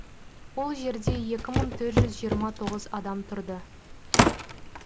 ол жерде екі мың төрт жүз жиырма тоғыз адам тұрды